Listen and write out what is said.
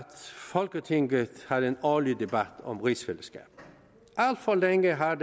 folketinget har en årlig debat om rigsfællesskabet alt for længe har